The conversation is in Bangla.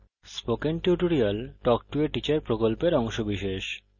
spoken tutorial talk to a teacher প্রকল্পের অংশবিশেষ